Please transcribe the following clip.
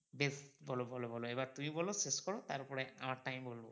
বেশ বলো বলো বলো এবার তুমি বলো শেষ করো তারপরে আমারটা আমি বলবো।